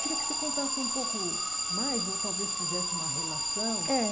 Queria que você contasse um pouco mais ou talvez fizesse uma relação eh.